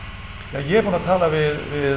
ég er búinn að tala við